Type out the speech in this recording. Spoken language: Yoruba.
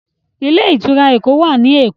Ilé-ìtura Ẹkọ wá ní èkó.